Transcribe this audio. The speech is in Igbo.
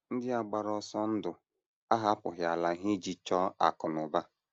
Ndị a gbara ọsọ ndụ ahapụghị ala ha ije chọọ akụ̀ na ụba.